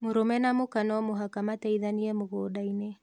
Mũrũme na mũka no mũhaka mateithanie mũgũnda-inĩ